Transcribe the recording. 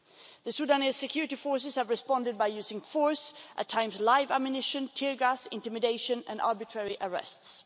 The Sudanese security forces have responded by using force, at times live ammunition, tear gas, intimidation and arbitrary arrests.